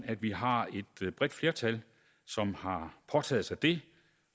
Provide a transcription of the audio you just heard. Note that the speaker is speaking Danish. at vi har et bredt flertal som har påtaget sig det